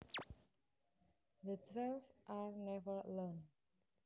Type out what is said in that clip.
The twelve are never alone